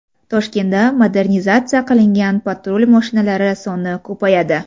Toshkentda modernizatsiya qilingan patrul mashinalari soni ko‘payadi.